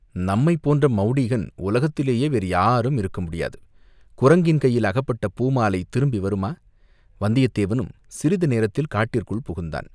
நம்மைப் போன்ற மௌடீகன் உலகத்திலேயே வேறு யாரும் இருக்க முடியாது, குரங்கின் கையில் அகப்பட்ட பூமாலை திரும்பி வருமா வந்தியத்தேவனும் சிறிது நேரத்தில் காட்டிற்குள் புகுந்தான்.